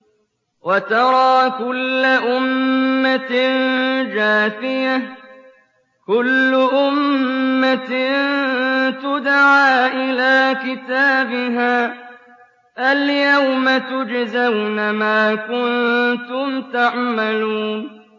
وَتَرَىٰ كُلَّ أُمَّةٍ جَاثِيَةً ۚ كُلُّ أُمَّةٍ تُدْعَىٰ إِلَىٰ كِتَابِهَا الْيَوْمَ تُجْزَوْنَ مَا كُنتُمْ تَعْمَلُونَ